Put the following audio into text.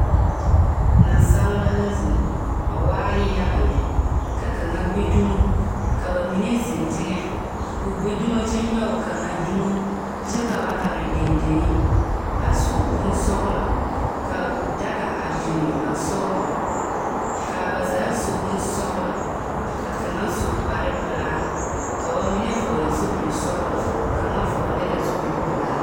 Nansaleba la zeŋ, ba waa yaga lԑ. Ka kaŋa gbi dumo, ka ba mine zeŋ teŋԑ, koo gbi dumo kyԑ nyͻge kaŋa dumo, kyԑ ka ba are dendeŋe a su bonsͻgelͻ ka daga a biŋi ba sogͻŋ ka ba zaa a su bonsͻgelͻ, ka kaŋa su kpare-pelaa ka ba mine vͻgele zupili-sͻgelͻ kaŋa vͻgele la zupili-pelaa.